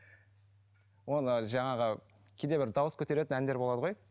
оны жаңағы кейде бір дауыс көтеретін әндер болады ғой